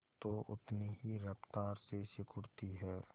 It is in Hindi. तो उतनी ही रफ्तार से सिकुड़ती है